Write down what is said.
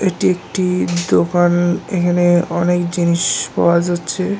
এটি একটি দোকান এখানে অনেক জিনিস পাওয়া যাচ্ছে